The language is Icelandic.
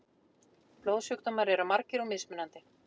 Blóðsjúkdómar eru margir og mismunandi.